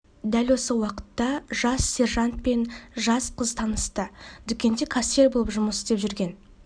дәл осы уақытта жас сержант пен жас қыз танысты дүкенде кассир болып жұмыс істеп жүрген